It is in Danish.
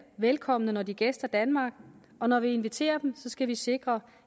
velkommen når de gæster danmark og når vi inviterer dem skal vi sikre